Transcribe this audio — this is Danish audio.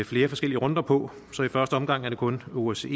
flere forskellige runder på så i første omgang er det kun osce